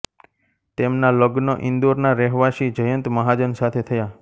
તેમના લજ્ઞ ઇંદોરના રહેવાશી જયંત મહાજન સાથે થયા